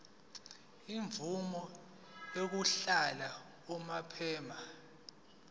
imvume yokuhlala unomphema